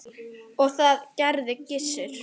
Og það gerði Gissur.